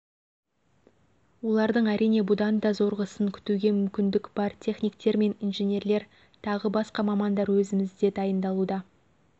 олардың әрине бұдан да зорғысын күтуге мүмкіндік бар техниктер мен инженерлер тағы басқа мамандар өзімізде дайындалуда